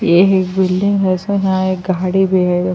ےع عک بیلدینگ حای، اس میں ےاحان عک گادیے بحی حای۔